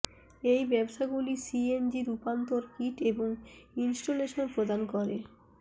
এই ব্যবসাগুলি সিএনজি রূপান্তর কিট এবং ইনস্টলেশন প্রদান করে